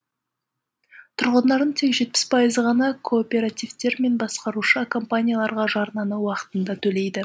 тұрғындардың тек жетпіс пайызы ғана кооперативтер мен басқарушы компанияларға жарнаны уақытында төлейді